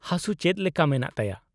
-ᱦᱟᱥᱩ ᱪᱮᱫ ᱞᱮᱠᱟ ᱢᱮᱱᱟᱜ ᱛᱟᱭᱟ ?